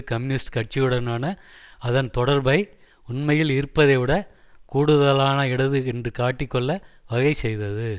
communist கட்சியுடனான அதன் தொடர்பை உண்மையில் இருப்பதைவிடக் கூடுதலான இடது என்று காட்டிக் கொள்ள வகை செய்தது